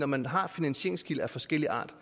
man har jo finansieringskilder af forskellig art